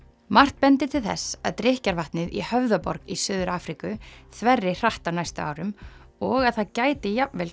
margt bendir til þess að drykkjarvatnið í Höfðaborg í Suður Afríku þverri hratt á næstu árum og að það gæti jafnvel